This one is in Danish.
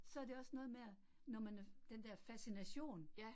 Så det også noget med, at når man er, den der fascination